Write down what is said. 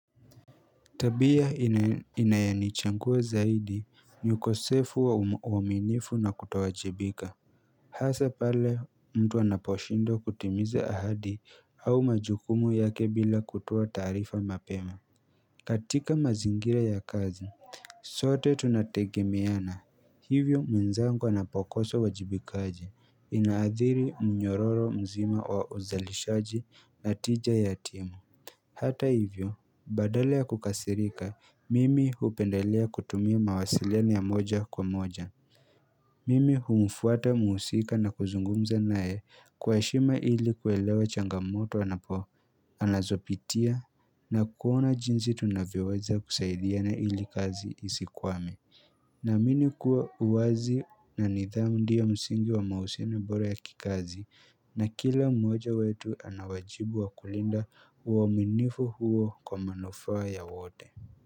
Tabia inayanichagua zaidi ni ukosefu wa umaminifu na kutowajibika Hasa pale mtu anaposhindwa kutimiza ahadi au majukumu yake bila kutoa taarifa mapema katika mazingira ya kazi sote tunategemeana hivyo mwenzangu anapokoso uwajibikaji inaadhiri mnyororo mzima wa uzalishaji na tija ya timu Hata hivyo badala ya kukasirika mimi hupendelea kutumia mawasiliano ya moja kwa moja Mimi humfuata mhusika na kuzungumza naye kwa heshima ili kuelewa changamoto anapo anazopitia na kuona jinsi tunavyoweza kusaidiana ili kazi isikwame Naamini kuwa uwazi na nidhamu ndio msingi wa mahusiano bora ya kikazi na kila mwoja wetu ana wajibu wa kulinda uaminifu huo kwa manufaa ya wote.